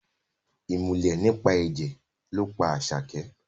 Ìmùlẹ̀ nípa ẹ̀jẹ̀ ló pa Àṣàkẹ́